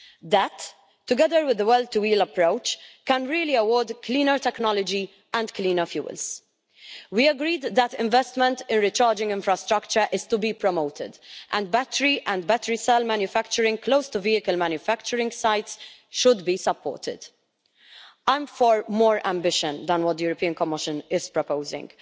That, together with the well-to-wheels approach, can really promote cleaner technology and cleaner fuels. We agreed that investment in recharging infrastructure is to be promoted, and battery and battery cell manufacturing close to vehicle manufacturing sites should be supported. I am for more ambition than what the European Commission is proposing.